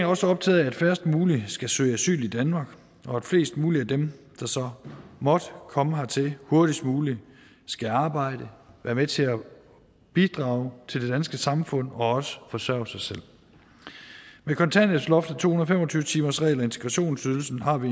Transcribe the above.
også optaget af at færrest mulige skal søge asyl i danmark og at flest mulige af dem der så måtte komme hertil hurtigst muligt skal arbejde være med til at bidrage til det danske samfund og også forsørge sig selv med kontanthjælpsloftet to hundrede og fem og tyve timersreglen og integrationsydelsen har vi